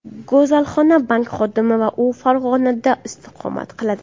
Go‘zalxon bank xodimi va u Farg‘onada istiqomat qiladi.